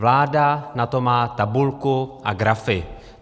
Vláda na to má tabulku a grafy.